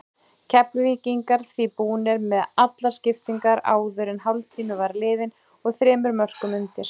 Keflvíkingar því búnir með allar skiptingarnar áður en hálftími var liðinn og þremur mörkum undir.